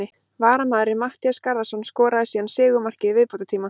Varamaðurinn Matthías Garðarsson skoraði síðan sigurmarkið í viðbótartíma.